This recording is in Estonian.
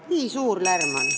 Nii suur lärm on!